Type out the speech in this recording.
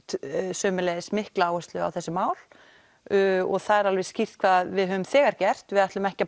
sömuleiðis mikla áherslu á þessi mál og það er alveg skýrt hvað við höfum þegar gert við ætlum ekki að